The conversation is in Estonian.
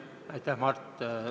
Aitäh, Mart!